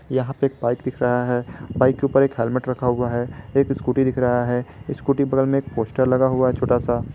यहां पर एक बाइक दिख रहा है बाइक के ऊपर एक हेल्मेट रखा हुआ है एक स्कूटी दिख रहा है स्कूटी के बगल में पोस्टर लगा हुआ है छोटा सा।